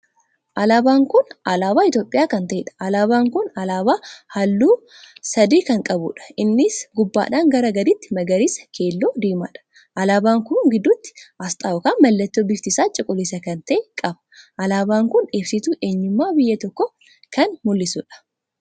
Alaabaan kun alaaba Itoophiyaa kan taheedha. Alaabaan kun alaabaa halluu adii sadii kan qabuudha: isaanis gubbaadhaa gara gadiitti, magariisa, keelloo, diimaadha. alaabaa kun gidduutti asxaan ykn mallattoo bifti isaa cuquliisa kan tahee qaba. Alaabaan kun ibsituu eenyummaa biyya tokkoo kan mul'isuudha.